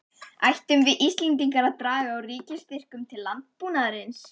Ættum við Íslendingar að draga úr ríkisstyrkjum til landbúnaðarins?